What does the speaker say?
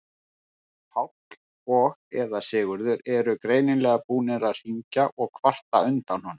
Páll og eða Sigurður voru greinilega búnir að hringja og kvarta undan honum.